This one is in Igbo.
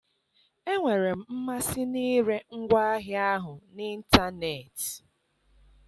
Enwere m mmasị n'ịre ngwaahịa ahụ n'ịntanetị